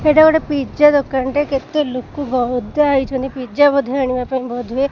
ସେଇଟା ଗୋଟେ ପିଜା ଦୋକନ୍ ଟେ କେତେ ଲୋକ ଗଦା ହେଇଛନ୍ତି ପିଜା ବୋଧେ ଆଣିବା ପାଇଁ ବୋଧ ହୁଏ।